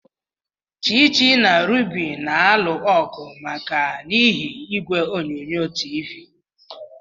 Chichi na Ruby na-alụ ọgụ maka n'ihi igwe onyonyo TV.